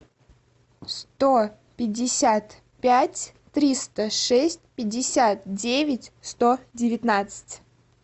сто пятьдесят пять триста шесть пятьдесят девять сто девятнадцать